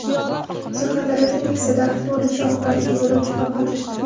Surxondaryoda Nexia daraxtga urilishi oqibatida yo‘lovchi vafot etdi.